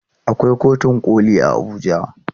Akwai kotun koli a Abuja.